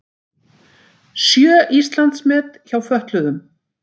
Sjö Íslandsmet hjá fötluðum